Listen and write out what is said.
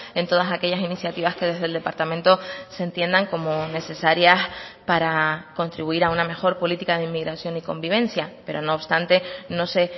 en todas aquellas iniciativas que desde el departamento se entiendan como necesarias para contribuir a una mejor política de inmigración y convivencia pero no obstante no se